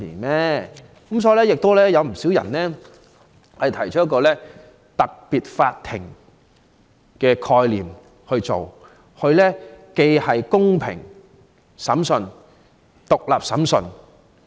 因此，有不少人建議成立特別法庭，以進行公平而獨立的審訊。